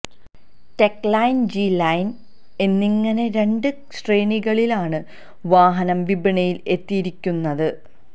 tech line G line എന്നിങ്ങനെ രണ്ട് ശ്രേണികളിലാണ് വാഹനം വിപണിയിൽ എത്തിയിരിയ്ക്കുന്നത്